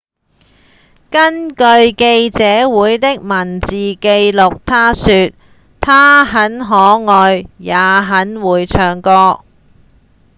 根據記者會的文字記錄他說：「她很可愛也很會唱歌」